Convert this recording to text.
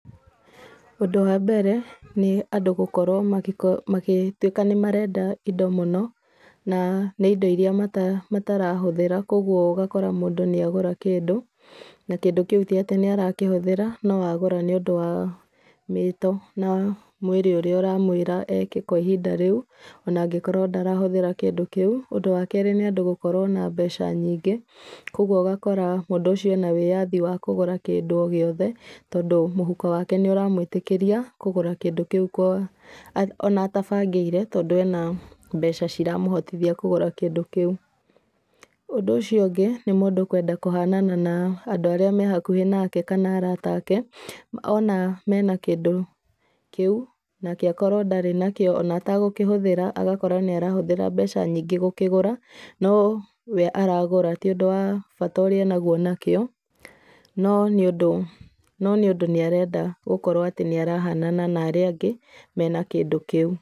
Ũndũ wa mbere, nĩ andũ gũkorwo magĩtuĩka nĩ marenda indo mũno, na nĩ indo iria matarahũthĩra koguo ũgakora mũndũ nĩ agũra kĩndũ, na kĩndũ kĩu ti atĩ nĩ arakĩhũthĩra, no agũra nĩũndũ wa mĩto na wa mwĩrĩ ũrĩa ũramwĩra eke kwa ihinda rĩu, ona angĩkorwo ndarahũthĩra kĩndũ kĩu. Ũndũ wa kerĩ nĩ andũ gũkorwo na mbeca nyingĩ, koguo ũgakora mũndũ ũcio ena wĩyathi wa kũgũra kĩndũ o gĩothe tondũ mũhuko wake nĩ ũramwĩtĩkĩria, kũgũra kĩndũ kĩu ona atabangĩire tondũ ena mbeca ciramũhotithia kũgũra kĩndũ kĩu. Ũndũ ũcio ũngĩ, nĩ mũndũ kwenda kũhanana na andũ arĩa me hakuhĩ nake kana arata ake, ona mena kĩndũ kĩu, nake akorwo ndarĩ nakio ona atagũkĩhũthĩra, agakorwo nĩ arahũthĩra mbeca nyingĩ gũkĩgũra, no we aragũra ti ũndũ wa bata ũrĩa enaguo nakĩo, no nĩ ũndũ, no nĩ ũndũ nĩ arenda gũkorwo nĩ arahanana na arĩa angĩ mena kĩndũ kĩu.